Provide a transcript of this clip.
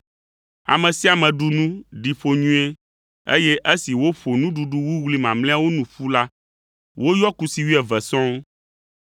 Ame sia ame ɖu nu ɖi ƒo nyuie, eye esi woƒo nuɖuɖu wuwlui mamlɛawo nu ƒu la, woyɔ kusi wuieve sɔŋ.